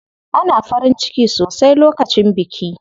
Ana farin ciki sosai lokacin biki.